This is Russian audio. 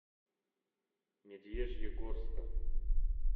медвежьегорска